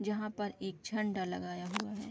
जहाँ पर एक झंडा लगाया हुआ है।